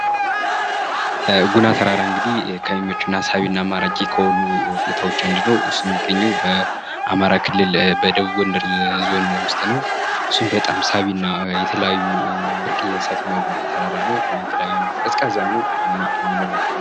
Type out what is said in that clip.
አነስተኛ በጀት ቢኖርም በጥንቃቄ በተመረጡ የማስጌጫ ዕቃዎች ቆንጆና ማራኪ ቦታ መፍጠር ይቻላል